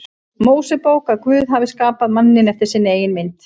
Mósebók að Guð hafi skapað manninn eftir sinni eigin mynd.